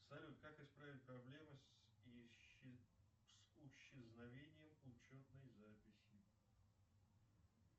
салют как исправить проблемы с исчезновением учетной записи